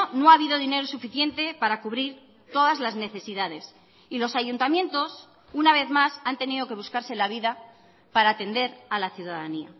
no ha habido dinero suficiente para cubrir todas las necesidades y los ayuntamientos una vez más han tenido que buscarse la vida para atender a la ciudadanía